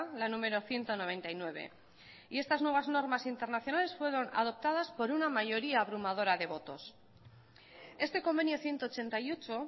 la número ciento noventa y nueve y estas nuevas normas internacionales fueron adoptadas por una mayoría abrumadora de votos este convenio ciento ochenta y ocho